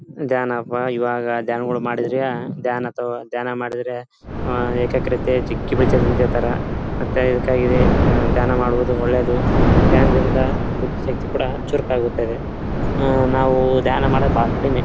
ಧ್ಯಾನ ಪ ಇವಾಗ ದ್ಯಾನಗಳು ಮಾಡಿದರೆ ದ್ಯಾನ್ ಅಥವಾ ಧ್ಯಾನ ಮಾಡಿದರೆ ಏಕಾಗ್ರತೆ ಹೇಳ್ತರ ಮತ್ತೆ ಇದಕ್ಕ ಇದೆ ಧ್ಯಾನ ಮಾಡುವುದು ಒಳ್ಳೆಯದು ಧ್ಯಾನದಿಂದ ಬುದ್ದಿ ಶಕ್ತಿಕೂಡ ಚುರುಕಾಗುತ್ತೆ. ಆ ನಾವೂ ಧ್ಯಾನ ಮಾಡೋದ್ ಬಹಳ ಕಡಿಮೆ.